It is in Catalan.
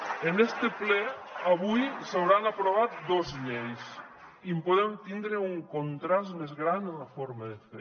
en este ple avui s’hauran aprovat dos lleis i en podem tindre un contrast més gran en la forma de fer